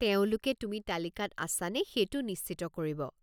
তেওঁলোকে তুমি তালিকাত আছা নে সেইটো নিশ্চিত কৰিব।